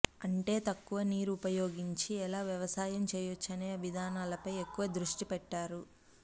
అంటే తక్కువ నీరు ఉపయోగించి ఎలా వ్యవసాయం చేయొచ్చు అనే విధానాలపై ఎక్కువ దృష్టి పెట్టారు